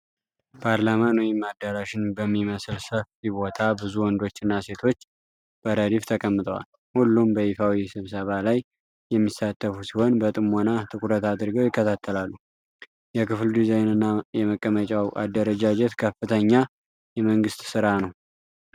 ፓርላማን ወይም አዳራሽን በሚመስል ሰፊ ቦታ፣ ብዙ ወንዶችና ሴቶች በረድፍ ተቀምጠዋል። ሁሉም በይፋዊ ስብሰባ ላይ የሚሳተፉ ሲሆን፣ በጥሞና ትኩረት አድርገው ይከታተላሉ። የክፍሉ ዲዛይንና የመቀመጫው አደረጃጀት ከፍተኛ የመንግሥት ሥራ ነው።